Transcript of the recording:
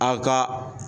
A ka